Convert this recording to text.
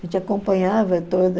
acompanhava toda.